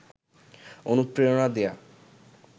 অনুপ্রেরণা দেয়া